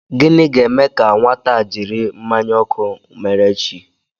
Gịnị ga-eme ka nwata a jiri mmanya ọkụ mere chi?